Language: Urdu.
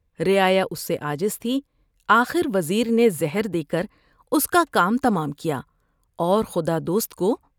رعایا اس سے عاجز تھی ۔آخروز میں نے زہر دے کر اس کا کام تمام کیا اور خدا دوست کو